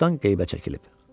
Çoxdan qeybə çəkilib.